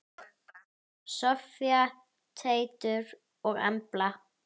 Soffía, Teitur og Embla.